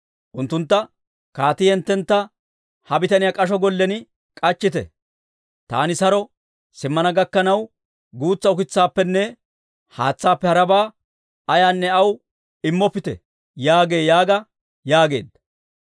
Unttuntta, Kaatii hinttentta Ha bitaniyaa k'asho gollen k'achchite. Taani saro simmana gakkanaw, guutsa ukitsaappenne haatsaappe harabaa ayaanne aw immoppite» yaagee yaaga yaageedda.